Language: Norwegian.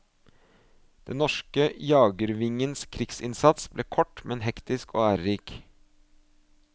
Den norske jagervingens krigsinnsats ble kort men hektisk og ærerik.